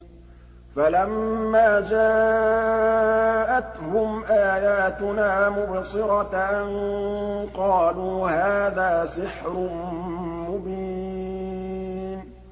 فَلَمَّا جَاءَتْهُمْ آيَاتُنَا مُبْصِرَةً قَالُوا هَٰذَا سِحْرٌ مُّبِينٌ